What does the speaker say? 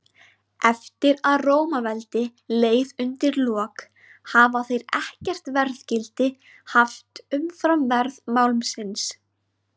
Eftir að Rómaveldi leið undir lok hafa þeir ekkert verðgildi haft umfram verð málmsins.